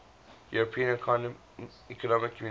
european economic community